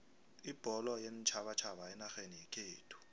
ibholo yeentjhabatjhaba enarheni yekhethu